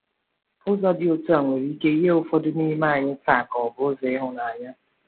Ụzọ dị otu a nwere ike yie ụfọdụ n’ime anyị taa ka ọ bụ ụzọ ịhụnanya.